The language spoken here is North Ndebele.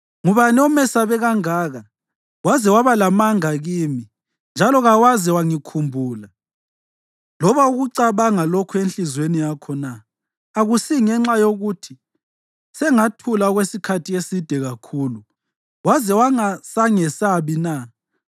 Ngubani omesabe kangaka waze waba lamanga kimi, njalo kawaze wangikhumbula loba ukucabanga lokhu enhliziyweni yakho na? Akusingenxa yokuthi sengathula okwesikhathi eside kakhulu waze wangasangesabi na?